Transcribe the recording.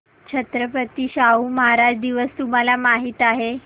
छत्रपती शाहू महाराज दिवस तुम्हाला माहित आहे